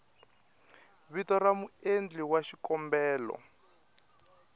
vito ra muendli wa xikombelo